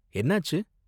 என்னாச்சு?